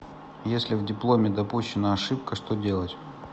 если в дипломе допущена ошибка что делать